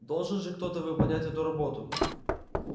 должен же кто-то выполнять эту работу